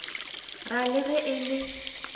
ra le ge e le